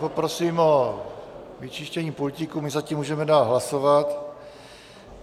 Poprosím o vyčištění pultíku, my zatím můžeme dál hlasovat.